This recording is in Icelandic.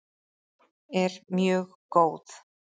er mjög góð.